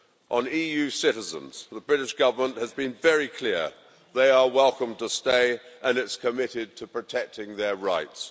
On EU citizens, the British Government has been very clear, they are welcome to stay, and it is committed to protecting their rights.